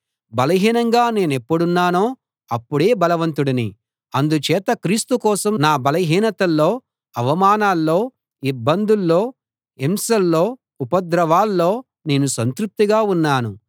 బలహీనంగా నేనెప్పుడున్నానో అప్పుడే బలవంతుడిని అందుచేత క్రీస్తు కోసం నా బలహీనతల్లో అవమానాల్లో ఇబ్బందుల్లో హింసల్లో ఉపద్రవాల్లో నేను సంతృప్తిగా ఉన్నాను